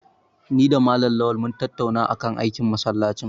Ni da Malam Lawal mun tattauna kan aikin masallacin.